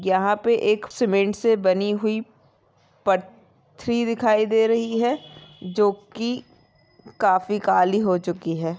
यहाँ पे एक सीमेंट से बनी हुई दिखाई दे रही है जो की काफी काली हो चुकी है।